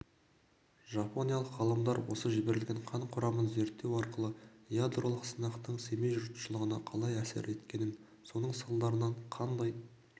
жапониялық ғалымдар осы жіберілген қан құрамын зерттеу арқылы ядролық сынақтың семей жұртшылығына қалай әсер еткенін соның салдарынан қандай